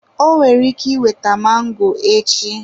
O kwere nkwa iweta mango echi.